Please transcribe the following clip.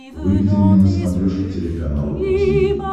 выведи мне на смотрешке телеканал ру ти ви